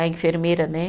A enfermeira, né?